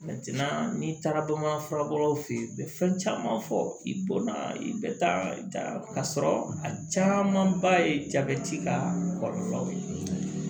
n'i taara bamanan fura bɔlaw fɛ yen u bɛ fɛn caman fɔ i bɔnna i bɛ taa ka sɔrɔ a caman ba ye jabɛti ka kɔlɔlɔw ye